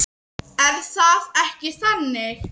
Er það ekki þannig?